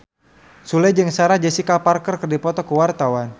Sule jeung Sarah Jessica Parker keur dipoto ku wartawan